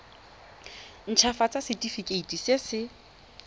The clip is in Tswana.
nt hafatsa setefikeiti se se